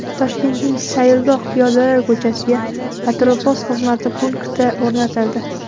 Toshkentning Sayilgoh piyodalar ko‘chasiga patrul-post xizmati punkti o‘rnatildi.